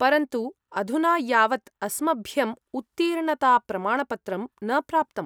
परन्तु अधुना यावत् अस्मभ्यम् उत्तीर्णताप्रमाणपत्रं न प्राप्तम्।